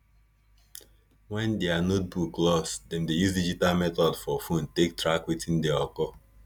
when diir notebook loss dem dey use digital method for phone take track wetin dey occur